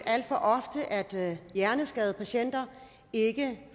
at hjerneskadede patienter ikke